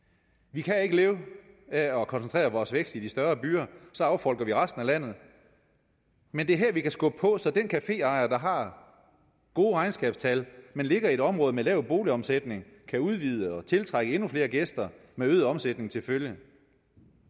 vi kan ikke leve af at koncentrere vores vækst i de større byer så affolker vi resten af landet men det er her vi kan skubbe på så den caféejer der har gode regnskabstal men ligger i et område med lav boligomsætning kan udvide og tiltrække endnu flere gæster med øget omsætning til følge